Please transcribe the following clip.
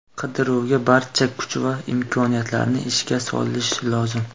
Qidiruvga barcha kuch va imkoniyatlarni ishga solish lozim.